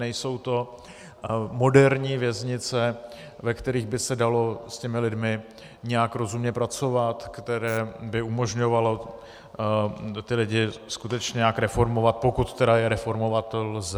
Nejsou to moderní věznice, ve kterých by se dalo s těmi lidmi nějak rozumně pracovat, které by umožňovaly ty lidi skutečně nějak reformovat, pokud je tedy reformovat lze.